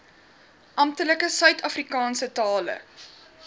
amptelike suidafrikaanse tale